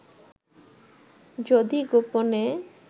যদি গোপনে